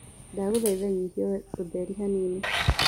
ndagũthaĩtha nyĩhĩa utherĩ hanini